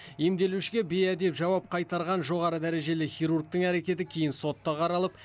емделушіге бейәдеп жауап қайтарған жоғары дәрежелі хирургтың әрекеті кейін сотта қаралып